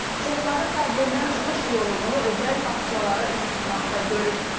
Çoxları problemdən çıxış yolunu özəl bağçalara üz tutmaqda görür.